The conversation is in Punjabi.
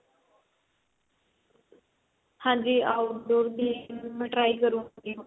ਹਾਂਜੀ outdoor game try ਕਰੂਗੀ ਹੁਣ